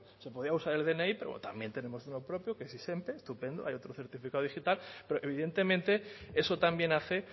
se podía usar el dni pero también tenemos uno propio que es izenpe estupendo hay otro certificado digital pero que evidentemente eso también hace